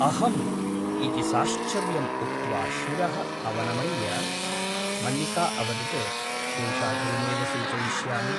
अहम् इति साश्चर्यम् उक्त्वा शिरः अवनमय्य मल्लिका अवदत् शेषाद्रिमेव सूचयिष्यामि ।